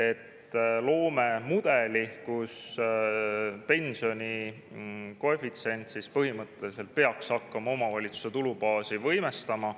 Eesmärk on luua mudel, kus pensioni koefitsient põhimõtteliselt peaks hakkama omavalitsuste tulubaasi võimestama.